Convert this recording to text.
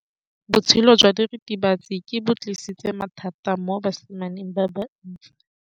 Botshelo jwa diritibatsi ke bo tlisitse mathata mo basimaneng ba bantsi.